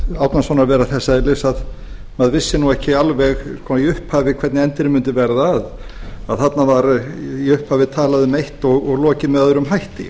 árnasonar vera þess eðlis að maður vissi ekki alveg í upphafi hvernig endirinn mundi verða að þarna var í upphafi talað um eitt og lokið með öðrum hætti